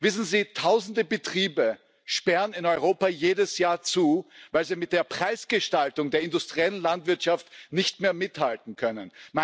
Wissen Sie, tausende Betriebe sperren in Europa jedes Jahr zu, weil sie mit der Preisgestaltung der industriellen Landwirtschaft nicht mehr mithalten können.